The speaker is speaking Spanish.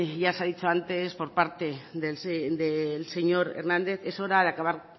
ya se ha dicho antes por parte del señor hernández es hora de acabar